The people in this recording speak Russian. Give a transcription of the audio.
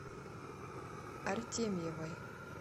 артемьевой